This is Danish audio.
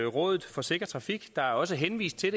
rådet for sikker trafik der er også henvist til